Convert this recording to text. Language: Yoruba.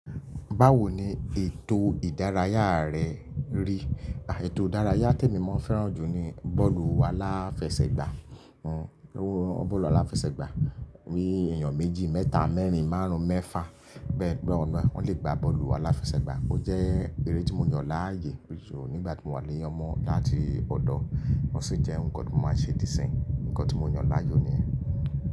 Báwo ni ètò ìdárayá rẹ rí? Ètò ìdárayá tèmi mo ń fẹ́ràn jù ni bọ́ọ̀lù aláfẹsẹ̀gbá. Bọ́ọ̀lù aláfẹsẹ̀gbá ní èyàn méjì, mẹ́ta, mẹ́rin, márùn-ún, mẹ́fà bẹ́ẹ̀ bẹ́ẹ̀ lọ. Wọ́n le gba bọ́ọ̀lù aláfẹsẹ̀gbá. Ó jẹ́ eré tí mo yàn láàyo nígbà tí mo wà ní ọmọde áti ọ̀dọ̀. Ó sì jẹ́ nǹkan tí mo máa ń ṣe dí isin, nǹkan tí mo yen láàyò ni yen.